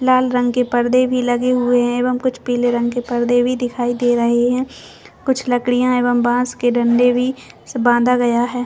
लाल रंग पर्दे भी लगे हुए है एवं कुछ पिले रंग के पर्दे भी दिखाई दे रहे है कुछ लकड़ियाँ एवं बॉस के डंडे भी बांधा गया है।